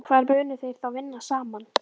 Hvar munu þeir þá vinna saman?